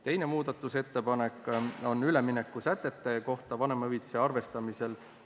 Teine muudatusettepanek on üleminekusätete kohta vanemahüvitise arvestamisel.